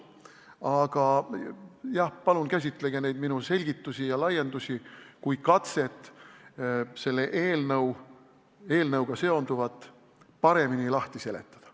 Aga jah, palun käsitage neid minu selgitusi ja teemalaiendusi kui katset selle eelnõuga seonduvat paremini lahti seletada.